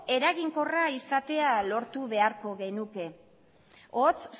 eraginkorra izatea lortu beharko genuke hots